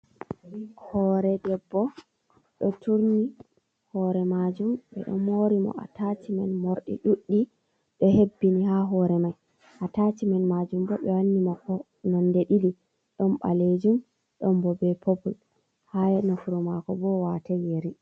Hore debbo ɗo turni hore majum, ɓe ɗo mori mo ataciman, morɗi ɗuɗdi ɗo hebbini ha hore mai. Ataciman majum ɓo ɓe wanni mo ko nonde ɗiɗi ɗon balejum don ɓo be popol, ha nofru mako bo watai yeri.